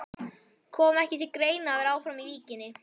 Kom ekki til greina að vera áfram í Víkinni?